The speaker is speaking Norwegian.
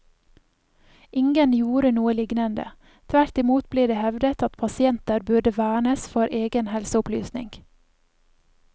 Ingen gjorde noe lignende, tvert imot ble det hevdet at pasienter burde vernes for egen helseopplysning.